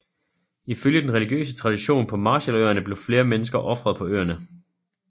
Ifølge den religiøse traditionen på Marshalløerne blev flere mennesker ofret på øerne